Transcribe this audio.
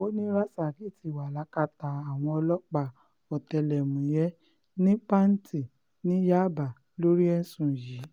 ó ní rasaki ti wà lákàtà àwọn ọlọ́pàá ọ̀tẹlẹ̀múyẹ́ ní panti ní yaba lórí ẹ̀sùn yìí